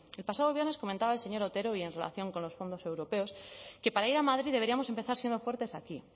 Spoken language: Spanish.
el pasado viernes comentaba el señor otero y en relación con los fondos europeos que para ir a madrid deberíamos empezar siendo fuertes aquí